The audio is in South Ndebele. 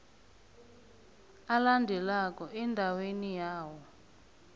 alandelako endaweni yawo